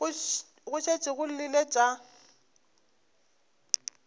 go šetše go llile tša